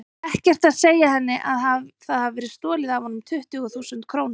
Ekkert að segja henni að það hafi verið stolið af honum tuttugu þúsund krónum.